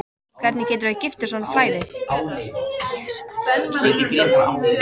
Hvernig geturðu verið giftur svona flagði?